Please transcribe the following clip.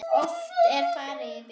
Oft er farið í bíó.